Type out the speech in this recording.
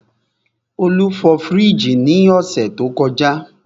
Olú fọ fríìgì ní ọ̀sẹ̀ tó kọjá.